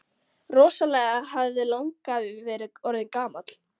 Rosalega hefði langafi verið orðinn gamall!